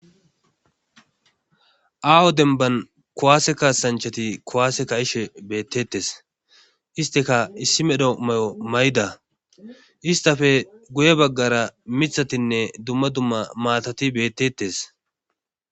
aawo demban kuwaase kasanchati kuwaase ka ishe beettetes isteka issi medho mayo mayda istafe guye baggara mithatinne dumma dumma maatati bettettes